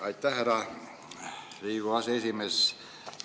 Aitäh, härra Riigikogu aseesimees!